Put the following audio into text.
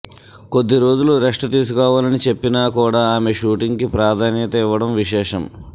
కొద్ది రోజులు రెస్ట్ తీసుకోవాలని చెప్పినా కూడా ఆమె షూటింగ్ కి ప్రాధాన్యత ఇవ్వడం విశేషం